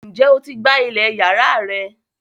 Ǹjẹ́ o ti gbá ilẹ̀ yàrá rẹ